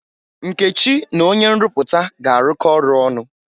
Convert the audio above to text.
Nkechi na onye nrụpụta ga-arụkọ ọrụ ọnụ.